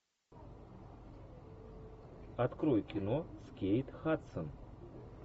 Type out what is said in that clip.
открой кино с кейт хадсон